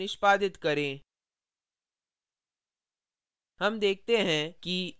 compile और निष्पादित करें